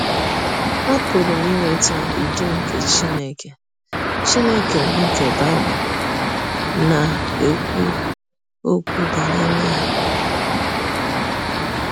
Apụrụ m inweta ụdọ nke Chineke Chineke bụ́ nke Bible na - ekwụ ọkwụ banyere ya.